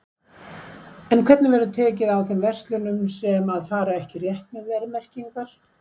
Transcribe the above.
En hvernig verður tekið á þeim verslunum sem að fara ekki rétt með verðmerkingar?